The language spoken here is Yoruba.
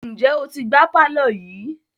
Ǹjẹ́ o ti gbá pàlọ́ yìí?